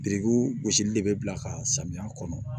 Birikiw gosili de bɛ bila ka samiya kɔnɔ